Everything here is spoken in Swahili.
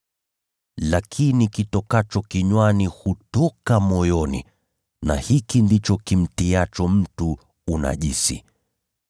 Lakini kitokacho kinywani hutoka moyoni, na hiki ndicho kimtiacho mtu unajisi.